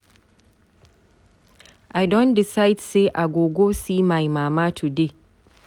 I don decide sey I go go see my mama today.